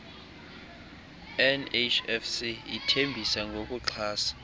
nhfc ithembisa ngokuxhasa